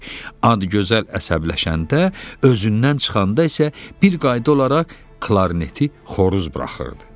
Adgözəl əsəbləşəndə, özündən çıxanda isə bir qayda olaraq klarneti xoruz buraxırdı.